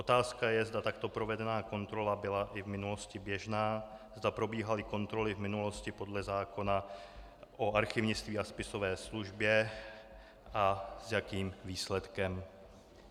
Otázka je, zda takto provedená kontrola byla i v minulosti běžná, zda probíhaly kontroly v minulosti podle zákona o archivnictví a spisové službě a s jakým výsledkem.